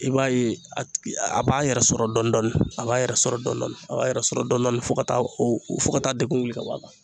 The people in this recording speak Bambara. I b'a ye a tigi, a b'a yɛrɛ sɔrɔ dɔɔni dɔɔni, a b'a yɛrɛ sɔrɔ dɔɔni dɔɔni a b'a yɛrɛ sɔrɔ dɔɔni dɔɔni fo ka taa, o fo ka taa degun wili ka bɔ a kan